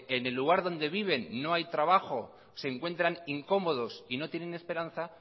en el lugar donde viven no hay trabajo se encuentran incómodos y no tienen esperanza